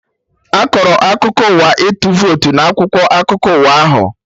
Akọrọ akụkọ ụwa ịtụ votu na akwụkwọ akụkọ ụwa ahụ?